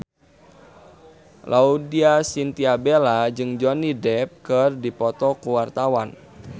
Laudya Chintya Bella jeung Johnny Depp keur dipoto ku wartawan